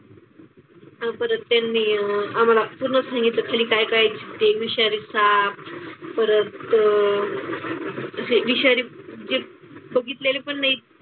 आणि परत त्यांनी आम्हाला पूर्ण सांगितलं खाली काय काय जिते आहे विषारी साप, परत हे विषारी जे बघितलेले पण नाहीत.